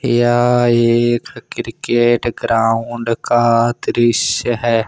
यह एक cricket ground का दृश्य है।